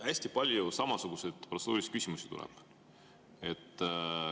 Hästi palju samasuguseid protseduurilisi küsimusi tuleb.